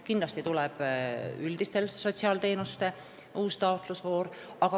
Kindlasti tuleb ka üldiste sotsiaalteenuste uus taotlusvoor.